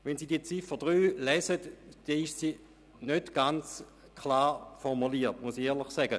Wenn Sie die Ziffer 3 lesen, sehen Sie, dass sie nicht ganz klar formuliert ist.